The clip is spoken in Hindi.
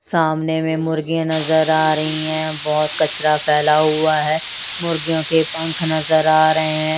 सामने में मुर्गी नजर आ रही हैं बहोत कचरा फैला हुआ है मुर्गियों के पंख नजर आ रहे हैं।